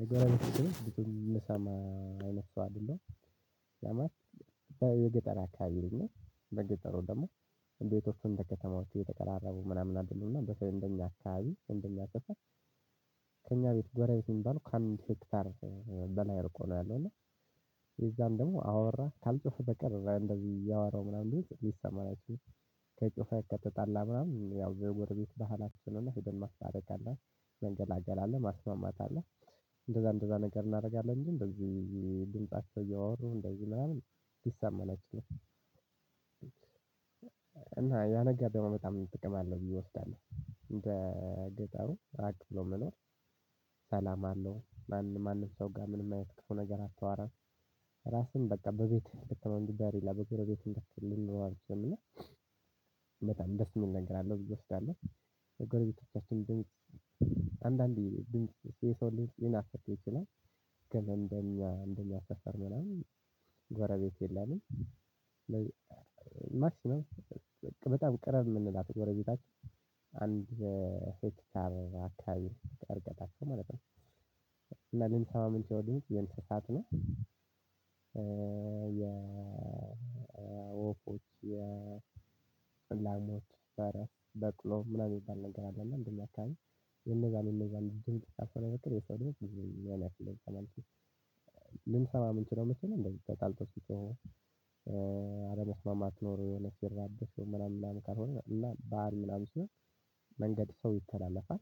ነገር አይነት ሰው አይደለም። ለማስ በገጠር አካባቢ ልጅ ነኝ። በገጠሩ ደግሞ ቤቶቹ አእንደ ከተማዎች እየተቀራረቡ ምናምን አይደሉም። እና በተለይም ደግሞ እኛ አካባቢ እንደኛ ሰፈር ከእኛ ቤት ጎረቤት የሚባል ከአምስት ሄክታር በላይ እርቆ ነው ያለው። እና የዛን ደግሞ አወራ ካልጮህ በቀር እዛ እንደዚህ እያወራው ምናምን ብዙ ይሰማራችውም። ለጮኸ ከተጣላ ምናምን ያው የጎረ ቤት ባህላችንን ሄደን ማስታረቅ አለን መገላገል አለ ማስማማት አለ አለ። እንደዛ እንደዛ ነገር እናደርጋለን እንጂ እንደዚህ ድምጻቸው እያወሩ እንደዚህ ምናምን። እና ያ ነገር ደግሞ በጣም ጥቅም አለው ብዬ እወስዳለሁ። አንደ ገጠሩ ስርዓት ለመኖር ሰላም አለው። ማንም ሰው ጋር ምንም አያት ክፉ ነገር አታወራም። ራስን በቃ በቤት ከወንድም ጋር ሌላቤት ጎረቤት ጋር ማናምን አትልምና። በጣም ደስ የሚል ነገር አለው። ልጆች ካሊህ የጎረቤቶቻችን ድምጽ አንዳንዴ ድምጽ እንደኛ እንደኛ ስፈር ምናምን ጓረቤት የለም። ማክሲመም በጣም ቀራቢ የምንላት ጎረቤታችን አንድ ሄክታር አካባቢ እርቀታችን ማለት ነው። እና ግን ከዛ ውጪ ያለው መሬት የንስሳት ነው። የወፎች የላሞች ፈረስ በቅሎ ምናምን የሚባል ነገር አለና አንደ እኛ አካባቢ የእነዛን የእነዛን ድምጽ ካላሆነ በቀር የሰው ድምጽ ብዙም ልንሰማ ምንችለው። መቼ ነው? እነዚህ ተጣልተው ሲጮሁ አለመስማማት ኖሮ የሆነ ሲራበሹ ምናምን ምናምን ካልሆነ እና ባህል ምናምን ሲሆን መንገድ ሰው ይተላለፋል።